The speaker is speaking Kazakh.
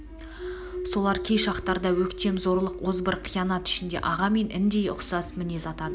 солар кей шақтарда өктем зорлық озбыр қиянат ішінде аға мен індей ұқсас мінез атады